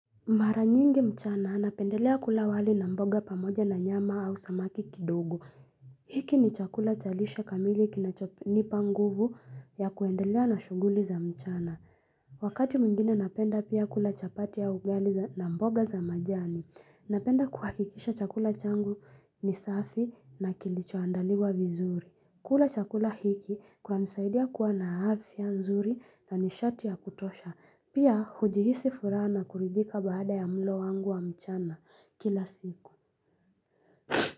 Mara nyingi mchana napendelea kula wali na mboga pamoja na nyama au samaki kidogo. Hiki ni chakula chalishe kamili kinacho nipa nguvu ya kuendelea na shuguli za mchana. Wakati mwingine napenda pia kula chapati au ugali na mboga za majani. Napenda kuhakikisha chakula changu ni safi na kilicho andaliwa vizuri. Kula chakula hiki kwa nisaidia kuwa na afia nzuri na nishati ya kutosha. Pia hujihisi furaha na kuridhika baada ya mlo wangu wa mchana kila siku.